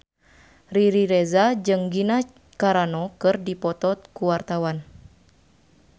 Riri Reza jeung Gina Carano keur dipoto ku wartawan